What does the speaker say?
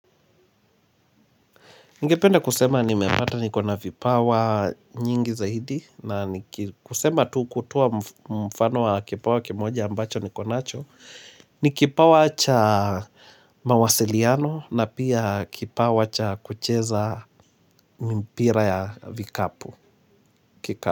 Ningependa kusema nimepata niko na vipawa nyingi zaidi na kusema tu kutoa mfano wa kipawa kimoja ambacho niko nacho ni kipawa cha mawasiliano na pia kipawa cha kucheza mpira ya vikapu.